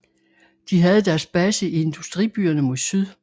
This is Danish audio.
De havde deres base i industribyerne mod syd